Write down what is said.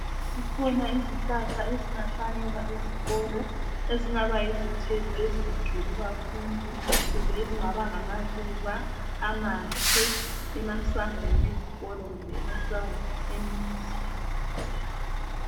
Zikhona izihlahla ezingahlanyelwa ezikolo ezingaba yizithelo ezinhle kubafundi kumbe ezingaba ngamaluba amahle emasangweni ezikolo kumbe emasangweni emizi